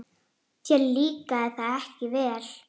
Þér líkaði það ekki vel.